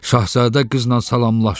Şahzadə qızla salamlaşdı.